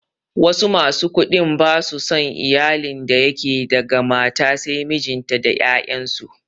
Wasu masu kuɗin ba su son iyalin da yake daga mata sai mijinta da 'ya'yansu.